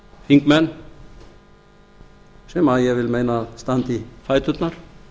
þingmenn sem ég vil meina að standi í fæturnar